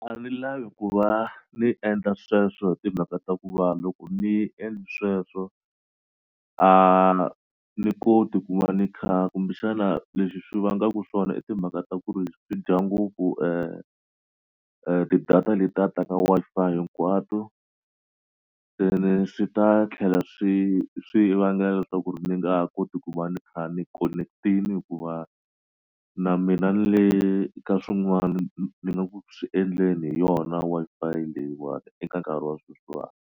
A ndzi lavi ku va ni endla sweswo hi timhaka ta ku va loko ni endli sweswo a ni koti ku va ni kha kumbexana leswi swi vangaku swona i timhaka ta ku ri swi dya ngopfu ti-data letiya ta ka Wi-Fi hinkwato ene swi ta tlhela swi swi vangela leswaku ri ni nga koti ku va ni kha ni connect-ini hikuva na mina ni le ka swin'wani ni nga ku swi endleni hi yona Wi-Fi leyiwani eka nkarhi wa sweswiwani.